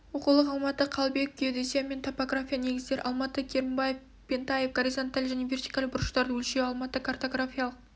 оқулық алматы қалыбеков геодезия мен топография негіздері алматы кермбаев пентаев горизонталь және вертикаль бұрыштарды өлшеу-алматы картографиялық